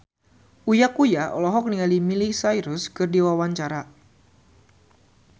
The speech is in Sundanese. Uya Kuya olohok ningali Miley Cyrus keur diwawancara